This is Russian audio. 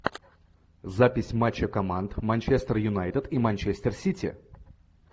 запись матча команд манчестер юнайтед и манчестер сити